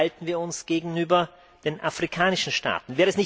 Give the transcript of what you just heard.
Wie verhalten wir uns gegenüber den afrikanischen Staaten?